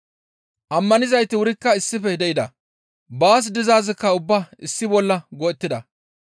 Ammanidayti wurikka issife de7ida; baas dizaazikka ubbaa issi bolla go7ettida.